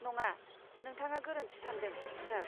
नङा, नोंथाङा गोरोन्थि सान्दों, सार।